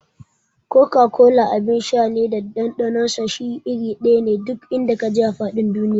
Koka-kola abin sha ne da ɗanɗanon shi iri ɗaya ne duk in da ka je a faɗin duniya.